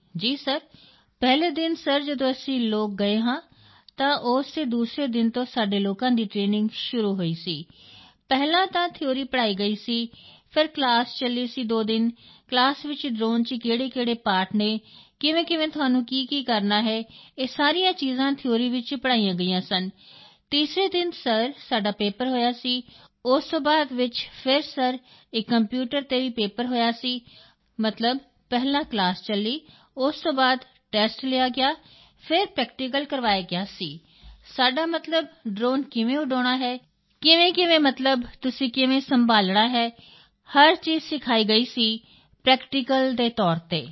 ਜੀ ਸਰ ਪਹਿਲੇ ਦਿਨ ਸਰ ਜਦੋਂ ਅਸੀਂ ਲੋਕ ਗਏ ਹਾਂ ਤਾਂ ਉਸ ਦੇ ਦੂਸਰੇ ਦਿਨ ਤੋਂ ਸਾਡੇ ਲੋਕਾਂ ਦੀ ਟਰੇਨਿੰਗ ਸ਼ੁਰੂ ਹੋਈ ਸੀ ਪਹਿਲਾਂ ਤਾਂ ਥਿਊਰੀ ਪੜ੍ਹਾਈ ਗਈ ਸੀ ਫਿਰ ਕਲਾਸ ਚੱਲੀ ਸੀ ਦੋ ਦਿਨ ਕਲਾਸ ਵਿੱਚ ਡ੍ਰੋਨ ਚ ਕਿਹੜੇਕਿਹੜੇ ਪਾਰਟ ਹਨ ਕਿਵੇਂਕਿਵੇਂ ਤੁਹਾਨੂੰ ਕੀਕੀ ਕਰਨਾ ਹੈ ਇਹ ਸਾਰੀਆਂ ਚੀਜ਼ਾਂ ਥਿਊਰੀ ਵਿੱਚ ਪੜ੍ਹਾਈਆਂ ਗਈਆਂ ਸਨ ਤੀਸਰੇ ਦਿਨ ਸਰ ਸਾਡਾ ਪੇਪਰ ਹੋਇਆ ਸੀ ਉਸ ਤੋਂ ਬਾਅਦ ਵਿੱਚ ਫਿਰ ਸਰ ਇਕ ਕੰਪਿਊਟਰ ਤੇ ਵੀ ਪੇਪਰ ਹੋਇਆ ਸੀ ਮਤਲਬ ਪਹਿਲਾਂ ਕਲਾਸ ਚੱਲੀ ਉਸ ਤੋਂ ਬਾਅਦ ਟੈਸਟ ਲਿਆ ਗਿਆ ਫਿਰ ਪ੍ਰੈਕਟੀਕਲ ਕਰਵਾਇਆ ਗਿਆ ਸੀ ਸਾਡਾ ਮਤਲਬ ਡ੍ਰੋਨ ਕਿਵੇਂ ਉਡਾਉਣਾ ਹੈ ਕਿਵੇਂਕਿਵੇਂ ਮਤਲਬ ਤੁਸੀਂ ਕੰਟਰੋਲ ਕਿਵੇਂ ਸੰਭਾਲਣਾ ਹੈ ਹਰ ਚੀਜ਼ ਸਿਖਾਈ ਗਈ ਸੀ ਪ੍ਰੈਕਟੀਕਲ ਦੇ ਤੌਰ ਤੇ